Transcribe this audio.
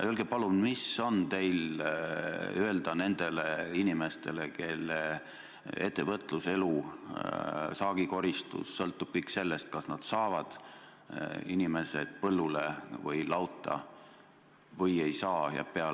Öelge, palun, mis on teil öelda nendele inimestele, kelle ettevõtlus, elu, saagikoristus sõltub sellest, kas nad saavad inimesed põllule või lauta või ei saa!